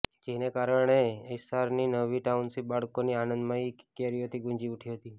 જેને કારણે એસ્સારની નવી ટાઉનશીપ બાળકોની આનંદમયી કિકિયારીઓથી ગુંજી ઉઠી હતી